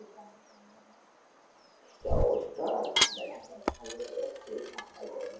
যা অবস্থা ঠান্ডা ঠান্ডা খবর হয়ে যাচ্ছে এই ঠান্ডা গরমে।